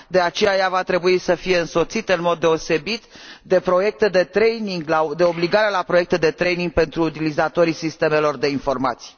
De aceea, ea va trebui să fie însoțită în mod deosebit de proiecte de training, de obligare la proiecte de training pentru utilizatorii sistemelor de informații.